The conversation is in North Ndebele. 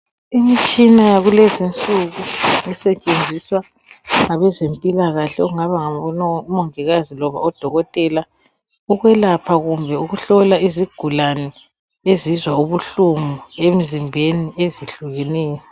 Imitshina yakulezi insuku esetshenziswa ngabe zempilakahle, okungaba ngomongikazi loba odokotela ukwelapha kumbe ukuhlola izigulani ezizwa ubuhlungu emzimbeni ezehlukeneyo.